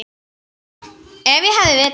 Ef ég hefði vitað.